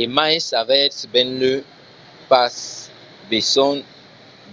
e mai s’avètz benlèu pas besonh